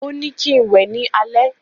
Ó ní kín wẹ ní alẹ́